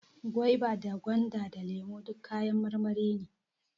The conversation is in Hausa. Gwaiba da gwanda, da lemo duk kayan marmari ne